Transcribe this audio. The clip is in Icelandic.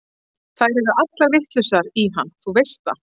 Þær eru allar vitlausar í hann, þú veist það.